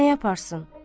Nə yaparsın?